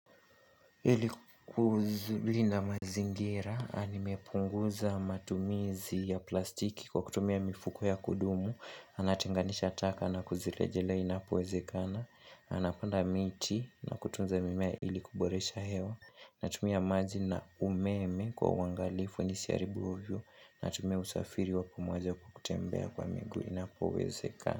Ili kuzuri na mazingira, nimepunguza matumizi ya plastiki kwa kutumia mifuko ya kudumu, na ninatenganisha taka na kuzilejelea inapowezekana, napanda miti na kutunza mimea ili kuboresha hewa, natumia maji na umeme kwa uangalifu nisiharibu ovyo, natumia usafiri wa pumuweza kutembea kwa mingu inapowezekana.